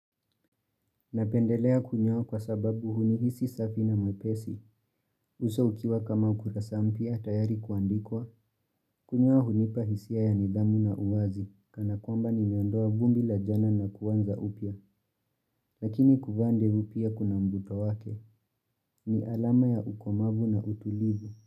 Napendelea kunyoa kwa sababu hunihisi safi na mwepesi. Uso ukiwa kama ukurasa mpya tayari kuandikwa. Kunyoa hunipa hisia ya nidhamu na uwazi. Kana kwamba nimeondoa vumbi la jana na kuanza upya. Lakini kuvaa ndevu pia kuna mvuto wake. Ni alama ya ukomavu na utulivu.